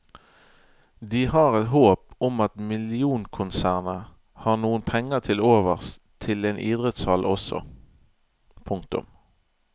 De har et håp om at millionkonsernet har noen penger til overs til en idrettshall også. punktum